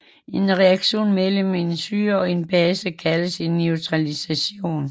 En reaktion mellem en syre og en base kaldes en neutralisation